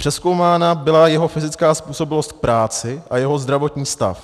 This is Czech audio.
Přezkoumána byla jeho fyzická způsobilost k práci a jeho zdravotní stav.